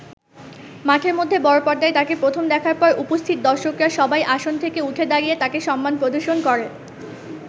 মাঠের মধ্যে বড় পর্দায় তাঁকে প্রথম দেখার পর উপস্থিত দর্শকরা সবাই আসন থেকে উঠে দাঁড়িয়ে তাঁকে সম্মান প্রদর্শন করে।